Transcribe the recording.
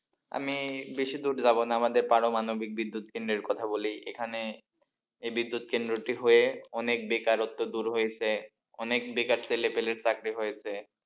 আমি বেশি দূর যাব না আমাদের পারমাণবিক বিদ্যুৎ কেন্দ্রের কথা বলি এখানে এই বিদ্যুৎ কেন্দ্রটি হয়ে অনেক বেকারত্ব দূর হয়েছে, অনেক বেকার ছেলেপেলের চাকরি হয়েছে,